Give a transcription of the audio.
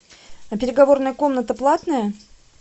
а переговорная комната платная